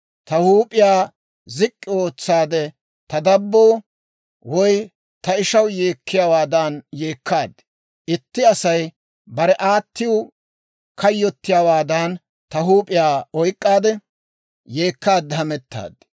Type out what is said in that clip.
Ta huup'iyaa zik'k'i ootsaade, ta dabboo, woy ta ishaw yeekkiyaawaadan yeekkaad. Itti Asay bare aattiw kayyottiyaawaadan ta huup'iyaa oyk'k'aade, yeekkaade hamettaad.